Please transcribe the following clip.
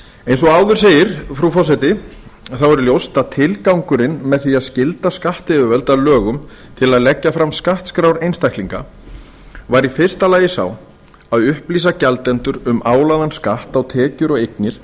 eins og áður segir frú forseti er ljóst að tilgangurinn með því að skylda skattyfirvöld að lögum til að leggja fram skattskrár einstaklinga var í fyrsta lagi sá að upplýsa gjaldendur um álagðan skatt á tekjur og eignir